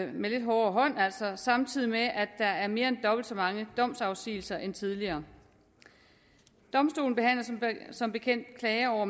med lidt hårdere hånd samtidig med at der er mere end dobbelt så mange domsafsigelser end tidligere domstolen behandler som bekendt klager over